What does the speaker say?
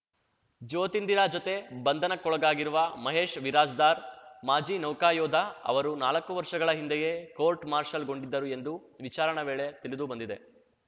ಜ್ಯೋತಿಂದರ ಜತೆ ಬಂಧನಕ್ಕೊಳಗಾಗಿರುವ ಮಹೇಶ್‌ ವಿರಾಜ್ದಾರ್‌ ಮಾಜಿ ನೌಕಾ ಯೋಧ ಅವರು ನಾಲಕ್ಕು ವರ್ಷಗಳ ಹಿಂದೆಯೇ ಕೋರ್ಟ್‌ ಮಾರ್ಷಲ್‌ಗೊಂಡಿದ್ದರು ಎಂದು ವಿಚಾರಣೆ ವೇಳೆ ತಿಳಿದು ಬಂದಿದೆ